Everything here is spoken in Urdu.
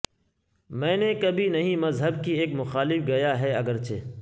میں نے کبھی نہیں مذہب کی ایک مخالف گیا ہے اگرچہ